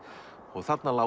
og þarna lágu